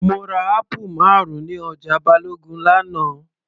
Mo ra apple marun ní ọjà Balogun l'ana